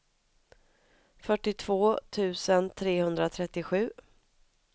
fyrtiotvå tusen trehundratrettiosju